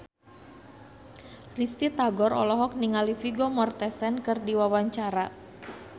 Risty Tagor olohok ningali Vigo Mortensen keur diwawancara